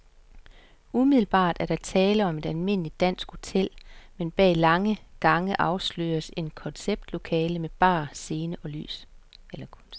Umiddelbart er der tale om et almindeligt dansk hotel, men bag lange gange afsløres et koncertlokale med bar, scene og lys.